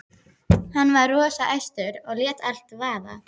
Hann var rosa æstur og lét allt vaða.